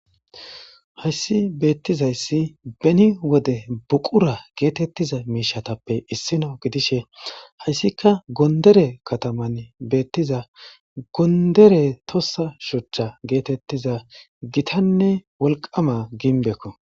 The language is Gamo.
hayssi beettizayssi beni wode buqura geetettiza miishatappe issino gidishe hayssika gondere kataman beettiza gondere tossa shuchcha geetettiza gitanne wolqama ginbekko